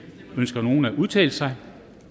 ønsker nogen at udtale sig